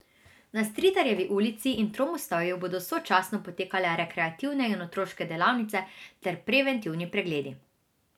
Na Stritarjevi ulici in Tromostovju bodo sočasno potekale rekreativne in otroške delavnice ter preventivni pregledi.